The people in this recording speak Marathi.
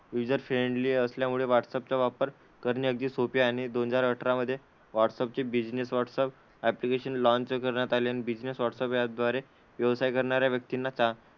युजर फ्रेंडली असल्यामुळे व्हाट्सअप चा वापर करणे अगदीच सोपे आहे. आणि दोन हजार अठरा मध्ये व्हाट्सअप चे बिझनेस व्हाट्सअप ॲप्लिकेशन लॉन्च करण्यात आले. आणि बिझनेस व्हाट्सअप या द्वारे व्यवसाय करणाऱ्या व्यक्तींना चा,